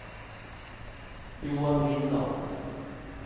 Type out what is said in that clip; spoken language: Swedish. Johan Lindahl